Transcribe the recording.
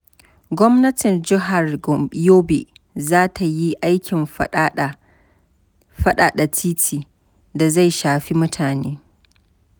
Gwamnatin jihar Yobe za ta yi aikin faɗaɗa titi da zai shafi mutane.